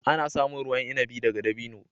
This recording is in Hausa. Ana samun ruwan inabi daga dabino.